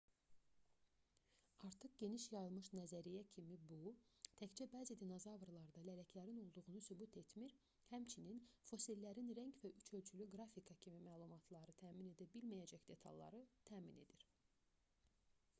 artıq geniş yayılmış nəzəriyyə kimi bu təkcə bəzi dinozavrlarda lələklərin olduğunu sübut etmir həmçinin fosillərin rəng və üç ölçülü qrafika kimi məlumatları təmin edə bilməcəyək detalları təmin edir